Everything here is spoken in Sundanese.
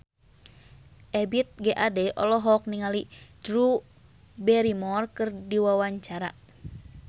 Ebith G. Ade olohok ningali Drew Barrymore keur diwawancara